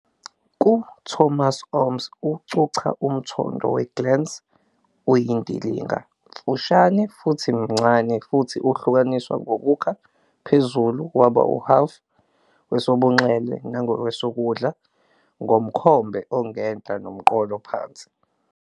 KuThomasomys ucucha umthondo we-glans uyindilinga, mfushane, futhi mncane futhi uhlukaniswe ngokukha phezulu waba "uhhafu wesobunxele nangakwesokudla ngomkhombe ongenhla nomqolo phansi."